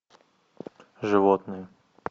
животные